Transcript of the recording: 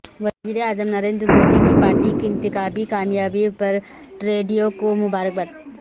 وزیراعظم نریندر مودی کی پارٹی کی انتخابی کامیابی پرٹروڈیو کو مبارکباد